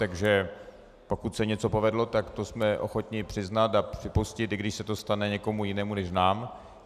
Takže pokud se něco povedlo, tak to jsme ochotni přiznat a připustit, i když se to stane někomu jinému než nám.